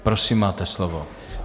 Prosím, máte slovo.